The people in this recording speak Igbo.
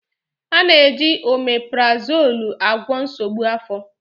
A na-eji oméprazolú agwọ nsogbu afọ.